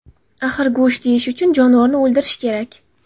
Axir go‘sht yeyish uchun jonivorni o‘ldirish kerak”.